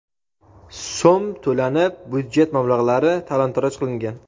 so‘m to‘lanib, byudjet mablag‘lari talon-toroj qilingan.